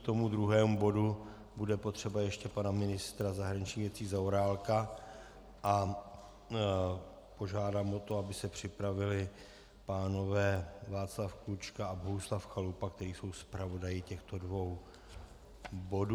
K tomu druhému bodu bude potřeba ještě pana ministra zahraničních věcí Zaorálka a požádám o to, aby se připravili pánové Václav Klučka a Bohuslav Chalupa, kteří jsou zpravodaji těchto dvou bodů.